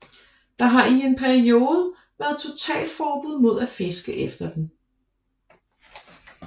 Der har i en periode været totalforbud mod at fiske efter den